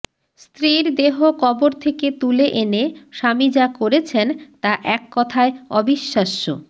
স্ত্রীর দেহ কবর থেকে তুলে এনে স্বামী যা করেছেন তা এককথায় অবিশ্বাস্য